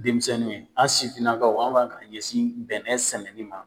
Denmisɛnninw , aw sifinnakaw aw b'a ka ɲɛsin bɛnɛ sɛnɛ ni ma.